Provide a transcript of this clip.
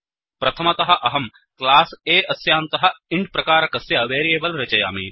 प्रथमतः अहं class A अस्यान्तः इन्ट् प्रकारकस्य वेरियेबल् रचयामि